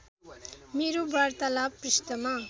मेरो वार्तालाव पृष्ठमा